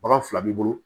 Bagan fila b'i bolo